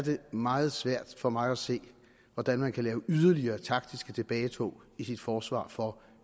meget svært for mig at se hvordan man kan lave yderligere taktiske tilbagetog i sit forsvar for